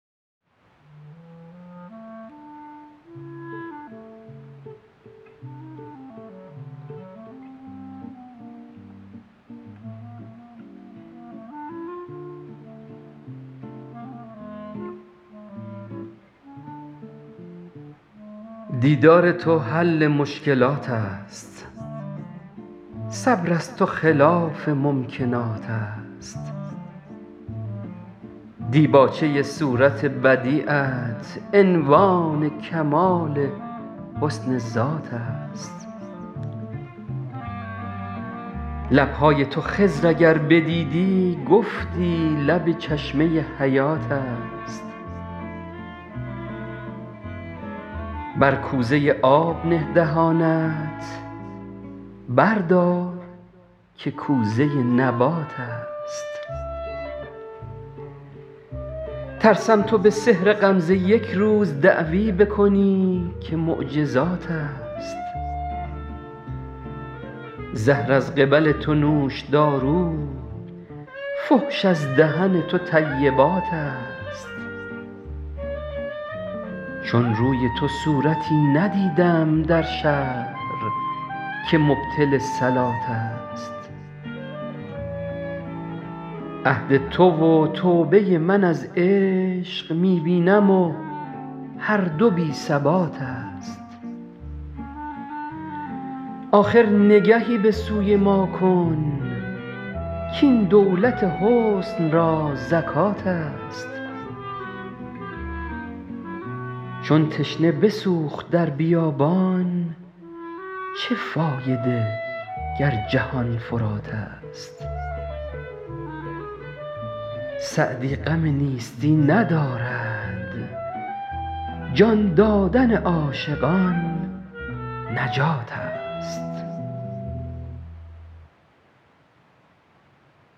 دیدار تو حل مشکلات است صبر از تو خلاف ممکنات است دیباچه صورت بدیعت عنوان کمال حسن ذات است لب های تو خضر اگر بدیدی گفتی لب چشمه حیات است بر کوزه آب نه دهانت بردار که کوزه نبات است ترسم تو به سحر غمزه یک روز دعوی بکنی که معجزات است زهر از قبل تو نوشدارو فحش از دهن تو طیبات است چون روی تو صورتی ندیدم در شهر که مبطل صلات است عهد تو و توبه من از عشق می بینم و هر دو بی ثبات است آخر نگهی به سوی ما کن کاین دولت حسن را زکات است چون تشنه بسوخت در بیابان چه فایده گر جهان فرات است سعدی غم نیستی ندارد جان دادن عاشقان نجات است